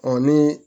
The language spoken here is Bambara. ni